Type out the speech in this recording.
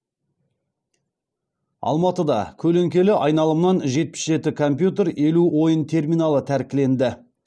алматыда көлеңкелі айналымнан жетпіс жеті компьютер елу ойын терминалы тәркіленді